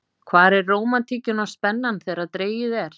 Hvar er rómantíkin og spennan þegar dregið er?